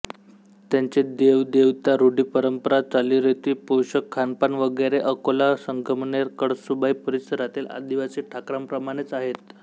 त्यांचे देवदेवता रुढीपरंपरा चालीरीती पोषक खानपान वगैरे अकोला संगमनेर कळसूबाई परिसरातील आदिवासी ठाकरांप्रमाणेच आहेत